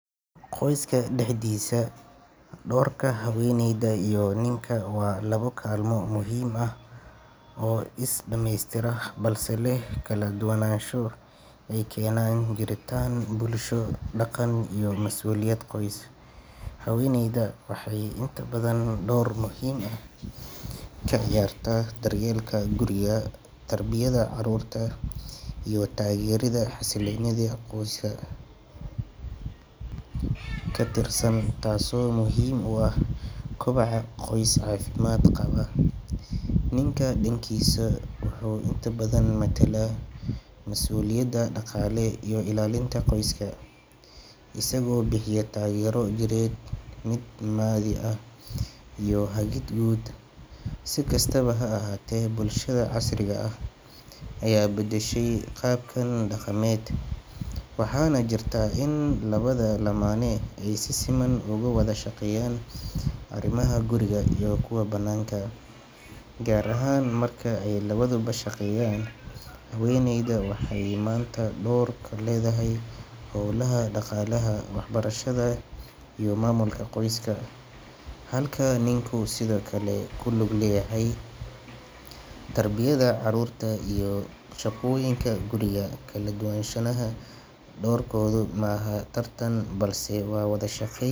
Qoyska dexdisa dorka haweneyda ii ninka wa laba kalma oo muhim ah isdamestira balse leh kaladuwanasho ey kenan jiritan bulsho daqan iyo masuliyad qoys, haweneyda waxey inta badhan dowr muhim ah kaciyarta daryelka guriga, tarbiyadha carurta iyo tageridha haselinidha qoyska, katirsan tas oo muhim uah kobaca qoys cafimad qaba, ninka dankisa wuxu inta badhan matala masuliyada daqale iyo iallinta qoyska isago bixiya tagero jired, mid Mali ahh iyo hagid gud sikastaba haahate bulshadha casriga ah aya badashay qabkan daqamed, waxana jirta in labadha lamana ey si Siman ugu wadha shaqeyan arimaha guriga ii kuwa bananka eh, gar ahan marka ey labadhuba shaqeyan haweneyda waxey manta dor kaledhahay howlaha daqalaaha waxbarashdha iyo mamulka qoyska, halka ninka sidhokale kulug leyahay tarbiyadha carurta iyo shaqoyinka guriga kaladuwanshanaha dowr mahan tartan balse wa wadha shaqeyn.